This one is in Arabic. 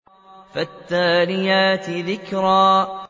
فَالتَّالِيَاتِ ذِكْرًا